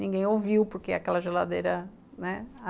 Ninguém ouviu porque é aquela geladeira, né?